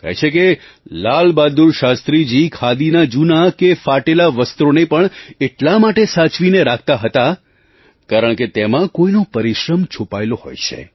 કહે છે કે લાલબહાદુર શાસ્ત્રીજી ખાદીના જૂના કે ફાટેલાં વસ્ત્રોને પણ એટલા માટે સાચવીને રાખતાં હતાં કારણકે તેમાં કોઈનો પરિશ્રમ છુપાયેલો હોય છે